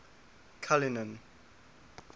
cullinan